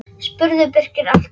spurði Birkir allt í einu.